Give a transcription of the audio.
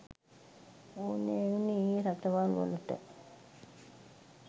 ඕනෑ වුණේ ඒ රටවල්වලට.